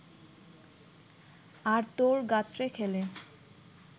আর তোর গাত্রে খেলে